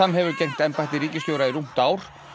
hefur gegnt embætti ríkisstjóra í rúmt ár